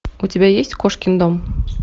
у тебя есть кошкин дом